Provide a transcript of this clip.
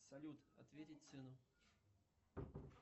салют ответить сыну